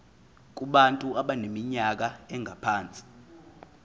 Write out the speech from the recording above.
kubantu abaneminyaka engaphansi